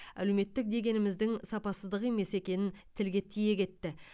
әлеуметтік дегеніміздің сапасыздық емес екенін тілге тиек етті